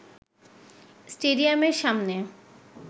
স্টেডিয়ামের সামনে